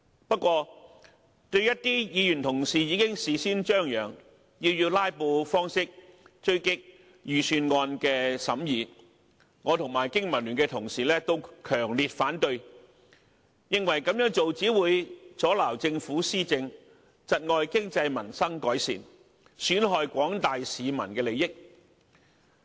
不過，對於一些議員同事已經事先張揚，要以"拉布"的方式追擊預算案的審議，我及經民聯的同事都強烈反對，認為這樣做只會阻撓政府施政，窒礙經濟民生改善，損害廣大市民的利益。